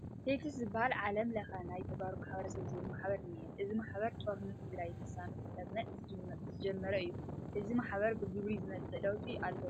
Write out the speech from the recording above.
TSTS ዝበሃል ዓለም ለኸ ናይ ተጋሩ ማሕበረሰብ ዝብል ማሕበር እኒሀ፡፡ እዚ ማሕበር ጦርነት ትግራይ ልሳኑ ክስማዕ ዝጀመረ እዩ፡፡ እዚ ማሕበር ብግብሪ ዘምፅኦ ለውጢ ኣሎ ዶ?